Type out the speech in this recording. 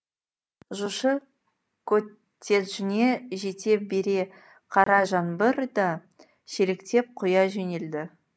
жошы коттеджіне жете бере қара жаңбыр да шелектеп құя жөнелді